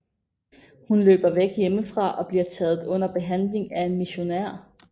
Hun løber væk hjemmefra og bliver taget under behandling af en missionær